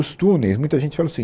Os túneis, muita gente fala assim,